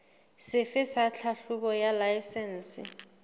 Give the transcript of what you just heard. sefe sa tlhahlobo ya laesense